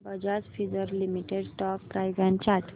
Bajaj Finserv limited stock price and chart